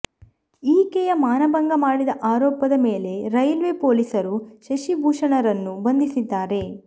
ಈಕೆಯ ಮಾನಭಂಗ ಮಾಡಿದ ಆರೋಪದ ಮೇಲೆ ರೈಲ್ವೆ ಪೊಲೀಸರು ಶಶಿ ಭೂಷಣರನ್ನು ಬಂಧಿಸಿದ್ದಾರೆ